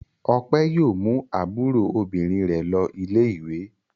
Ọpẹẹ́ yóò mú àbúrò obìnrin rẹ̀ lọ ilé-ìwé.